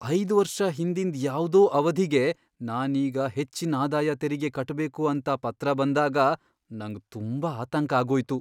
ಐದ್ ವರ್ಷ ಹಿಂದಿಂದ್ ಯಾವ್ದೋ ಅವಧಿಗೆ ನಾನ್ ಈಗ ಹೆಚ್ಚಿನ್ ಆದಾಯ ತೆರಿಗೆ ಕಟ್ಬೇಕು ಅಂತ ಪತ್ರ ಬಂದಾಗ ನಂಗ್ ತುಂಬಾ ಆತಂಕ ಆಗೋಯ್ತು.